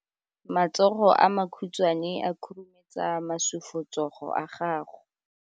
Matsogo a makhutshwane a khurumetsa masufutsogo a gago.